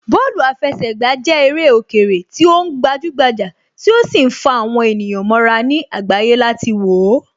Bọ́ọ̀lù àfẹsẹ̀gbà jẹ́ eré òkèèrè tí ó gbajúgbajà tí ó sì ń fa àwọn ènìyàn mọ́ra ní àgbáyé láti wòó